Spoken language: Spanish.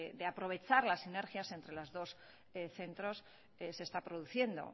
de aprovechar las sinergias entre los centros se está produciendo